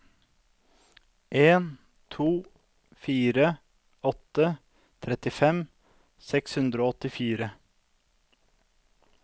en to fire åtte trettifem seks hundre og åttifire